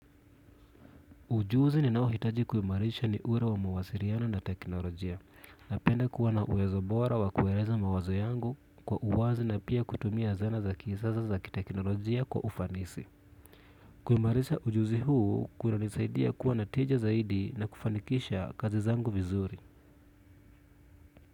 Ujuzi ninao hitaji kumarisha ni ule wa mawasiliano na teknolojia napenda kuwa na uwezo bora wa kueleza mawazo yangu kwa uwazi na pia kutumia zana za kisasa za ki teknolojia kwa ufanisi. Kumarisha ujuzi huu kuna nisaidia kuwa natija zaidi na kufanikisha kazi zangu vizuri.